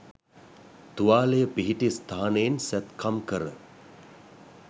තුවාලය පිහිටි ස්ථානයෙන් සැත්කම් කර